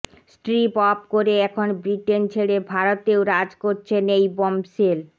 strip off করে এখন Britain ছেড়ে ভারতেও রাজ করছেন এই বম্বশেল